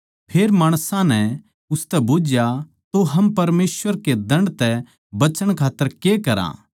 फेर माणसां नै उसतै बुझया तो हम परमेसवर के दण्ड तै बचण खात्तर के करा